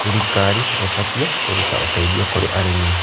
Thirikari ĩbatiĩ kũruta ũteithio kũrĩ arĩmi.